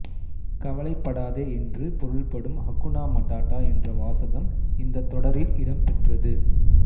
கவலைப்படாதே என்று பொருள்படும் ஹகுனா மடாடா என்ற வாசகம் இந்த தொடரில் இடம் பெற்றது